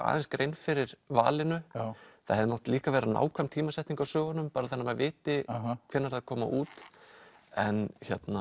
aðeins grein fyrir valinu það hefði mátt líka vera nákvæm tímasetning á sögunum bara þannig að maður viti hvenær þær koma út en